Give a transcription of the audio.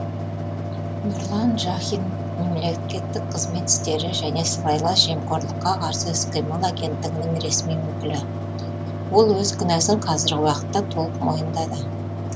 нұрлан жахин мемлекеттік қызмет істері және сыбайлас жемқорлыққа қарсы іс қимыл агенттігінің ресми өкілі ол өз кінәсін қазіргі уақытта толық мойындады